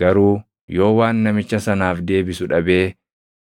Garuu yoo waan namicha sanaaf deebisu dhabee,